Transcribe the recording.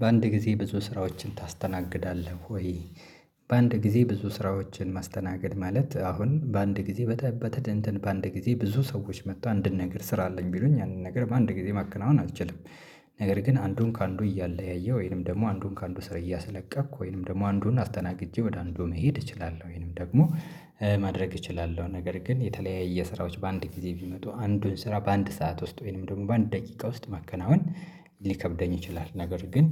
በአንድ ጊዜ ብዙ ስራዎችን ታስተናግዳለህ ወይ? በአንድ ጊዜ ብዙ ስራዎችን ማስተናገድ ማለት አሁን በአንድ ጊዜ በተደንተን በአንድ ጊዜ ብዙ ሰዎች መጥቶ አንድን ነገር ስራ አለኝ ቢሉኝ አንድ ነገር በአንድ ነገር ማከናወን አትችልም፤። ነገር ግን አንዱን ከአንዱ እያለያየ ወይንም ደግሞ አንዱን ከአንዱ ስር እያስለቀቅሁ ወይንም ደግሞ አንዱን አስተናግጄ ወደ አንዱ መሄድ እችላለሁ ወይንም ደግሞ ማድረግ እችላለሁ። ነገር ግን የተለያየ ስራዎች በአንድ ጊዜ ቢመጡ አንዱን ስራ በአንድ ሰዓት ውስጥ ወይንም ደግሞ በአንድ ደቂቃ ውስጥ ማከናወን ሊከብደኝ ይችላል፤። ነገር ግን